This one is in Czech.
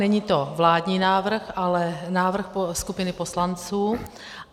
Není to vládní návrh, ale návrh skupiny poslanců.